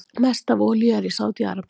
Mest af olíu er í Sádi-Arabíu.